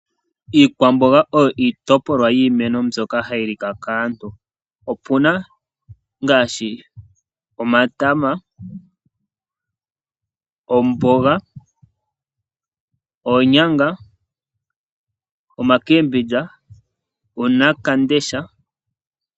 Aantu ohayali iikwambonga niiyimati ngaashi omatama, ombonga, oonyanga nuunawamundesha.